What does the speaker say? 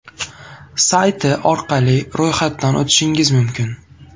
sayti orqali ro‘yxatdan o‘tishingiz mumkin.